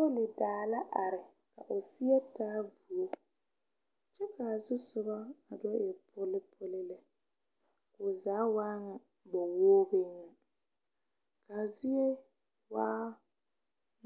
Polodaa la are ka o seɛ taa vuo kyɛ ka a zusoga a do e polipoli lɛ o zaa waa ŋa faeogri na ka a zie waa